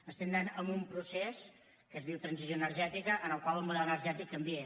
anem a un procés que es diu transició energètica en el qual el model energètic canvia